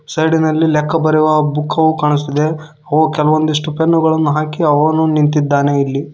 Side ನಲ್ಲಿ ಲೆಕ್ಕ ಬರೆಯುವ ಬುಕ್ಕವು ಕಾಣಿಸುತ್ತಿದೆ ಅವು ಕೆಲವೊಂದಿಷ್ಟು ಪೆನ್ನುಗಳನ್ನು ಹಾಕಿ ಅವನು ನಿಂತಿದ್ದಾನೆ ಇಲ್ಲಿ.